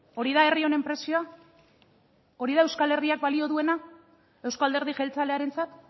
hori da herri honen prezioa hori da euskal herriak balio duena euzko alderdi jeltzalearentzat